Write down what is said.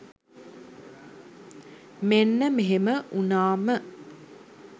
මෙන්න මෙහෙම වුණා ම